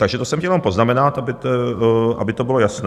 Takže to jsem chtěl jenom poznamenat, aby to bylo jasné.